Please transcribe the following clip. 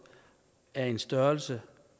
er af en størrelse